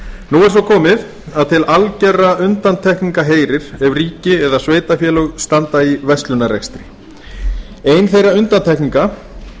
nú er svo komið að til algerra undantekninga heyrir ef ríki eða sveitarfélög standa í verslunarrekstri ein þeirra undantekninga